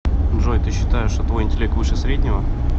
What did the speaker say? джой ты считаешь что твой интеллект выше среднего